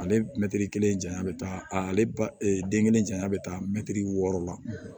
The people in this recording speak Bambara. Ale mɛtiri kelen janya bɛ taa ale ba den kelen janya bɛ taa mɛtiri wɔɔrɔ la